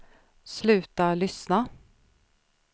sluta lyssna